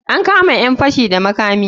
An kama ƴan fashi da makami.